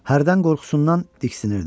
Hərdən qorxusundan diksinirdi.